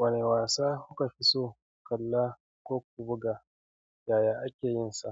Wane wasa kuka fi so ku kalla ko ku buga, yaya ake yin sa?